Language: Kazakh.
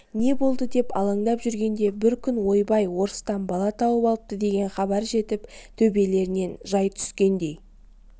не болды деп алаңдап жүргенде бір күн ойбай орыстан бала тауып алыпты деген хабар жетіп төбелеріне жай түскендей